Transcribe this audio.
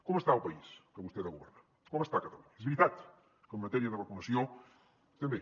com està el país que vostè ha de governar com està catalunya és veritat que en matèria de vacunació estem bé